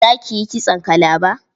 Za ki yi kitson kalaba?